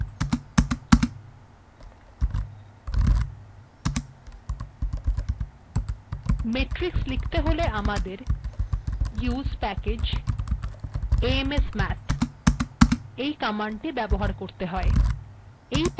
েমট্িরক্স্লিখতে গেলে আমাদের use package amsmath এই কমান্ডটি ব্যবহার করতে হবে